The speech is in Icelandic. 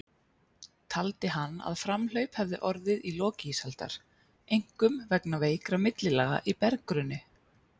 Taldi hann að framhlaup hefði orðið í lok ísaldar, einkum vegna veikra millilaga í berggrunni.